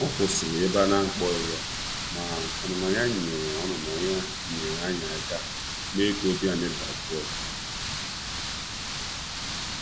Ọ kwụsịrị ebe a na akpọghị ya, ma ọnụnọ ya nyeere ọnụnọ ya nyeere anyị aka me ka obi ayi dajụọ.